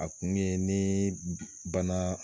A kun ye ni bana